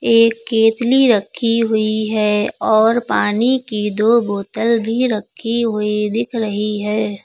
एक केतली रखी हुई है और पानी की दो बोतल भी रखी हुई दिख रही हैं।